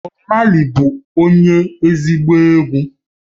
Bob Marley bu onye ezigbo egwu